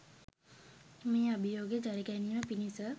මේ අභියෝගය ජයගැනීම පිණිස